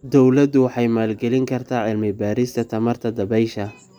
Dawladdu waxay maalgelin kartaa cilmi-baarista tamarta dabaysha.